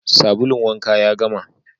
Sabulun wanka ya gama